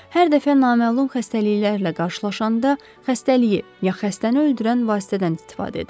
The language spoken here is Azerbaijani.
Hər dəfə naməlum xəstəliklərlə qarşılaşanda xəstəliyi ya xəstəni öldürən vasitədən istifadə edirəm.